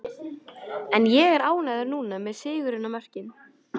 En ég er ánægður núna, með sigurinn og mörkin.